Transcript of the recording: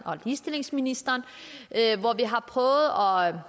og ligestillingsministeren og